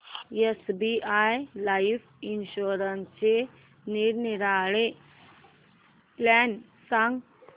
SBI life इन्शुरन्सचे निरनिराळे plan सांग